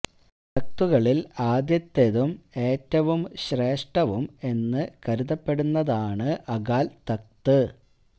തക്തുകളിൽ ആദ്യത്തതും ഏറ്റവും ശ്രേഷ്ഠവും എന്നു കരുതപ്പെടുന്നതാണ് ആണ് അകാൽ തക്ത്